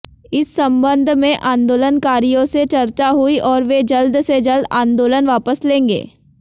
इस संबंध में आंदोलनकारियों से चर्चा हुई और वे जल्द से जल्द आंदोलन वापस लेंगे